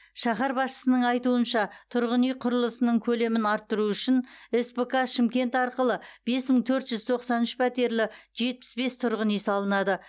шаһар басшысының айтуынша тұрғын үй құрылысының көлемін арттыру үшін спк шымкент арқылы бес мың төрт жүз тоқсан үш пәтерлі жетпіс бес тұрғын үй салынады